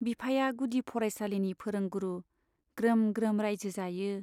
बिफाया गुदि फरायसालिनि फोरोंगुरु ग्रोम ग्रोम राइजो जायो।